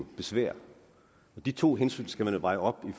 besvær og de to hensyn skal man veje op i